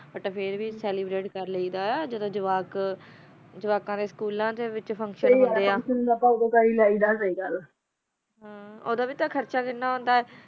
ਅਪਾ ਫਿਰ ਵੀ ਚੇਲੇਬ੍ਰਾਤੇ ਕਰ ਲੀ ਦਾ ਆ ਜਰਾ ਜਵਾਕ ਨਾ ਜਵਾਕਾ ਦਾ ਸ੍ਚੂਲਾ ਦਾ ਵੀ ਫੇਨ੍ਕ੍ਤਿਓਂ ਹੋਂਦਾ ਨਾ ਓਨਾ ਦਾ ਫੁਨ੍ਕ੍ਤਿਓਂ ਹੋਂਦਾ ਨਾ ਤਾ ਅਪਾ ਨੂ ਵੀ ਜਾਣਾ ਚਾਯੀ ਦਾ ਆ ਓਦੋ ਵੀ ਤਾ ਖਰਚਾ ਕੀਨਾ ਹੋਂਦਾ ਆ